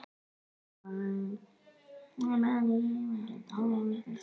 Geti þeir það?